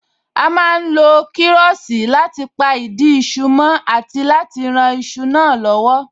A má ń lo kiroosi láti pa ìdí iṣu mó àti láti rán iṣu náà lowo